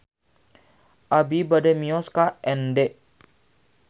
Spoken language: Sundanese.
Abi bade mios ka Ende